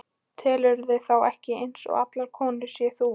Telurðu þá ekki eins og allar konurnar sem þú?